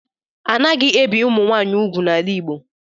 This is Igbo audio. Anaghị ebi Ụmụnwaanyị ugwu n'ala Igbo